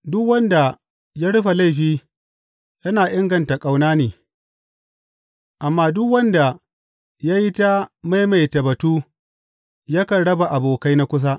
Duk wanda ya rufe laifi yana inganta ƙauna ne, amma duk wanda ya yi ta maimaita batu yakan raba abokai na kusa.